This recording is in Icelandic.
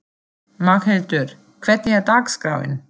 Magnhildur, hvernig er dagskráin?